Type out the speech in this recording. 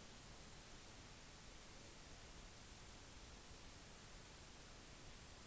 tiden sin andre steder